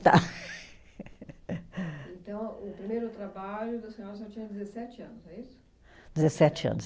Então, o primeiro trabalho da senhora, a senhora tinha dezessete anos, é isso? Dezessete anos.